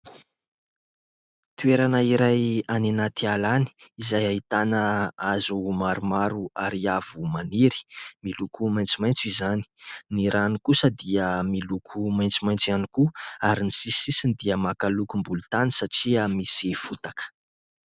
Toerana iray any anaty ala any izay ahitana hazo maromaro ary avo maniry miloko maitsomaitso izany, ny rano kosa dia miloko maitsomaitso ihany koa ary ny sisisisiny dia maka lokom-bolontany satria misy fotaka.